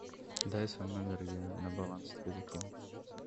дай свой номер я на баланс тебе закину